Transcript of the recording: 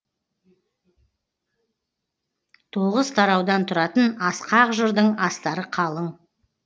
тоғыз тараудан тұратын асқақ жырдың астары қалың